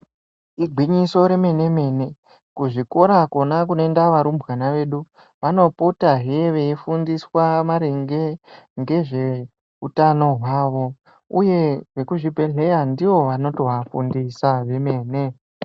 Igwinyiso remene-mene, kuzvikora kona kunoenda varumbwana vedu, vanopotahe veifundiswa maringe ngezveutano hwavo, uye vekuzvibhedhleya ndivo vanotoafundisa vemene.